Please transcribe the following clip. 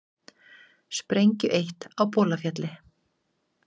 Sprengju eytt á Bolafjalli